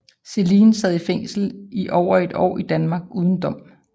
Céline sad fængslet i over et år i Danmark uden dom